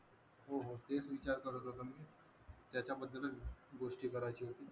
हो हो तेच विचार करत होतो मी त्याच्याबद्दलच गोष्टी करायची होती